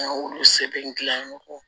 An y'olu sɛbɛn